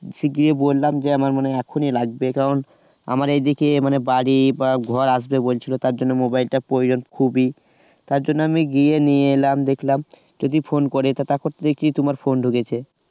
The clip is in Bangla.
গিয়ে বললাম যে আমার মনে হয় এখনই লাগবে কারণ দেখে মানে বাড়ি বা ঘর যে আসবে বলছিল তার জন্য mobile টা প্রয়োজন খুবই তার জন্য আমি গিয়ে নিয়ে এলাম । দেখলাম যদি phone করে তারপর তো দেখছি তোমার phone ঢুকেছে